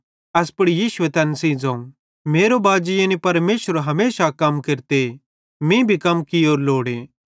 एस पुड़ यीशुए तैन सेइं ज़ोवं मेरो बाजी यानी परमेशर हमेशा कम केरते मीं भी कम कियोरू लोड़े